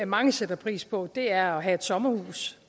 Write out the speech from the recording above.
mange sætter pris på er at have et sommerhus